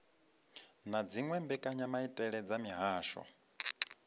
na dziwe mbekanyamaitele dza mihasho